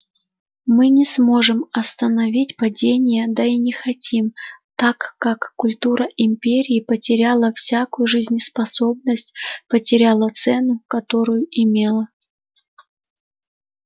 мы не сможем остановить падение да и не хотим так как культура империи потеряла всякую жизнеспособность потеряла цену которую имела